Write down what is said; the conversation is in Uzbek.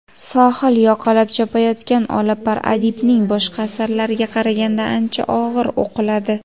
"Sohil yoqalab chopayotgan olapar" adibning boshqa asarlariga qaraganda ancha og‘ir o‘qiladi.